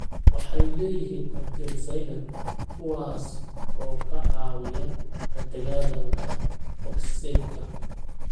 Waxay leeyihiin antioxidants, kuwaas oo ka caawiya la dagaalanka oksaydhka.